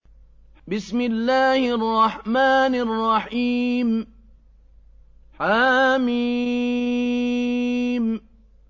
حم